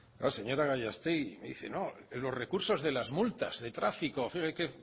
la señora gallastegui me dice no los recursos de las multas de tráfico qué